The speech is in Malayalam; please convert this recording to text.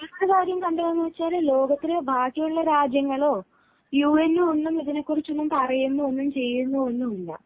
മറ്റൊരു കാര്യം കണ്ടതെന്താണെന്നു വച്ചാൽ ലോകത്തിലെ ബാക്കിയുള്ള രാജ്യങ്ങളോ യു എന്നോ ഒന്നും ഇതിനെക്കുറിച്ചു പറയുന്നോ ചെയ്യുന്നോ ഒന്നും ഇല്ല